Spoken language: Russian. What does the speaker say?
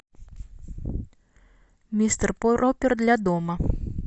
мистер пропер для дома